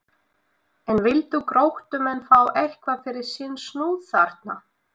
En vildu Gróttumenn fá eitthvað fyrir sinn snúð þarna?